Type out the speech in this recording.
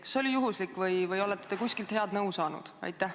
Kas see oli juhuslik või olete kuskilt head nõu saanud?